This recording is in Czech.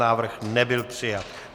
Návrh nebyl přijat.